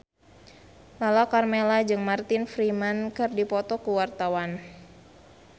Lala Karmela jeung Martin Freeman keur dipoto ku wartawan